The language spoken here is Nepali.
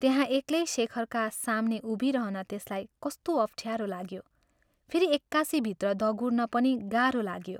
त्यहाँ एक्लै शेखरका साम्ने उभिरहन त्यसलाई कस्तो अप्ठ्यारो लाग्यो फेरि एक्कासि भित्र दगुर्न पनि गाह्रो लाग्यो।